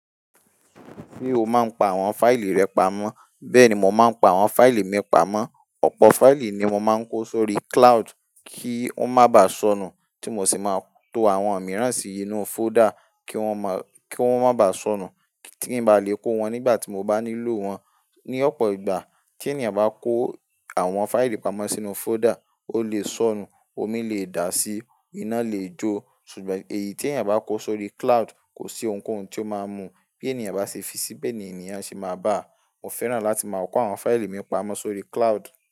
Ṣé o máa ń pa àwọn fáìlì rẹ pamọ́? Bẹ́ẹ̀ ni, mo máa ń pa àwọn fáìlì mi pamọ́. Ọ̀pọ̀ fáìlì ni mo máa ń kó sórí cloud kí wọ́n má bà sọnù, tí mo sì máa tó àwọn mìíràn sí inú fóldà kí wọ́n má bà sọnù, kí n ba lè kó wọn nígbà tí mo bá nílò wọn. Ni ọ̀pọ̀ ìgbà tí ènìyàn bá kó àwọn fáìlì pamọ́ sínú fóldà, ó lè sọnù, omi lè dà á sí, iná lè jó, ṣùgbọ́n èyí tí ènìyàn bá kó sórí cloud kò sí ohunkóhun tí ó máa mú. Bí ènìyàn bá ṣe fi síbí, ènìyàn sì máa bá a. Mo fẹ́ràn láti máa kó àwọn fáìlì mi pamọ́ sórí cloud.